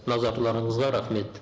назарларыңызға рахмет